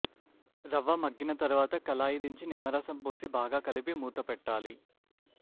రవ్వ మగ్గిన తరువాత కళాయి దించి నిమ్మ రసం పోసి బాగా కలిపి మూతపెట్టాలి